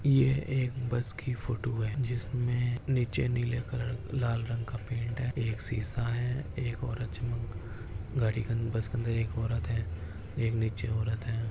ये एक बस की फोटो है जिसमे नीचे नीले कलर लाल रंग का पेंट है एक शिसा है एक और चमक गाड़ी के अंदर बस के अंदर एक औरत है एक नीचे औरत है।